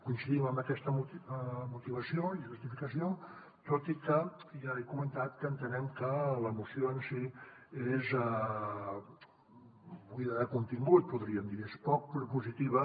coincidim en aquesta motivació i justificació tot i que ja he comentat que entenem que la moció en si és buida de contingut podríem dir és poc propositiva